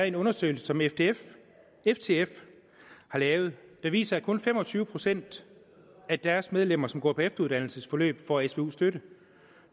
en undersøgelse som ftf ftf har lavet der viser at kun fem og tyve procent af deres medlemmer som går på efteruddannelsesforløb får svu støtte